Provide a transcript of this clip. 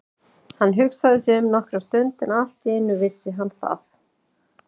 Hann hugsaði sig um nokkra stund en allt í einu vissi hann það.